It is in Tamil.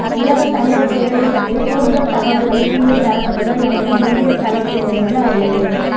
உலகத் தமிழர் பேரவை பற்றிய கூடுதல் தகவல்களைக் கீழே தரப்பட்டுள்ள எமது இணையத்தளத்திலிருந்து அறிந்து